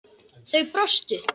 Þau brostu.